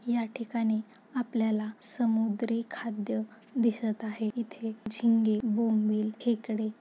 या ठिकाणी आपल्याला समुद्री खाद्य दिसत आहे इथे झिंगे बोंबिल खेकडे--